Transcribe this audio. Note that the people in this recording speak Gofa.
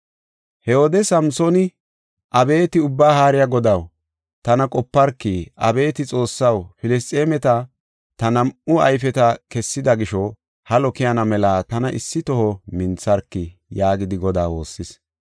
He wode Samsooni, “Abeeti Ubbaa Haariya Godaw, tana qoparki. Abeeti Xoossaw, Filisxeemeti ta nam7u ayfeta kessida gisho, halo keyana mela tana issi toho mintharki!” yaagidi Godaa woossis.